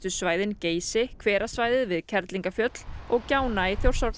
svæðin Geysi hverasvæðið við Kerlingafjöll og gjána í Þjórsárdal